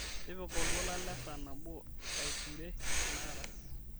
tipika oltuala lesaa nabo aiture enakata